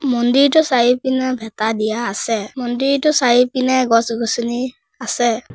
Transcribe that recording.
মন্দিৰটোৰ চাৰি পিনে ভেঁটা দিয়া আছে মন্দিৰটোৰ চাৰি পিনে গছ-গছনি আছে।